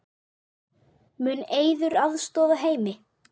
Mun Eiður aðstoða Heimi?